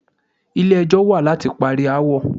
Ilé ẹjọ́ wà láti parí aáwọ̀.